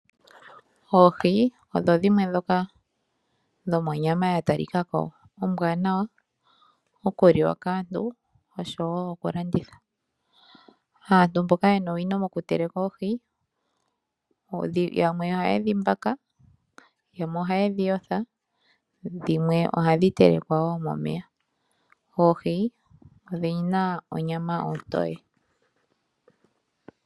Oohi odho dhimwe ondhoka dhina onyama ya talikako ombwanawa okuliwa kaantu oshowo okulanditha. Aantu mboka yena owino mo kuteleka oohi yamwe ohayedhi mbaka, yamwe ohayedhi yotha dhimwe ohadhi telekwa woo momeya . Oohi odhina onyama ontoye